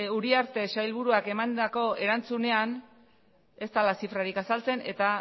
uriarte sailburuak emandako erantzunean ez dela zifrarik azaltzen eta